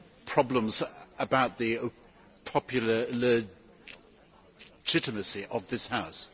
problems about the popular legitimacy of this House.